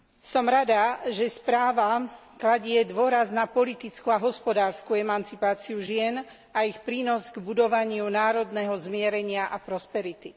Som rada, že správa kladie dôraz na politickú a hospodársku emancipáciu žien a ich prínos k budovaniu národného zmierenia a prosperity.